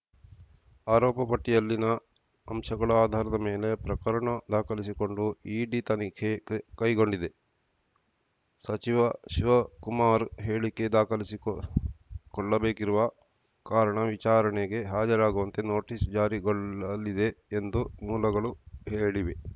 ಆರೋಪಪಟ್ಟಿಯಲ್ಲಿನ ಅಂಶಗಳ ಆಧಾರದ ಮೇಲೆ ಪ್ರಕರಣ ದಾಖಲಿಸಿಕೊಂಡು ಇಡಿ ತನಿಖೆ ಕೈಗೊಂಡಿದೆ ಸಚಿವ ಶಿವಕುಮಾರ್‌ ಹೇಳಿಕೆ ದಾಖಲಿಸಿಕೊಳ್ಳಬೇಕಿರುವ ಕಾರಣ ವಿಚಾರಣೆಗೆ ಹಾಜರಾಗುವಂತೆ ನೋಟಿಸ್‌ ಜಾರಿಗೊಳ್ಳಲಿದೆ ಎಂದು ಮೂಲಗಳು ಹೇಳಿವೆ